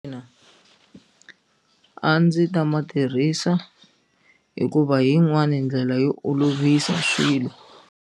Ina a ndzi ta ma tirhisa hikuva yin'wani ndlela yo olovisa swilo